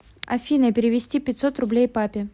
афина перевести пятьсот рублей папе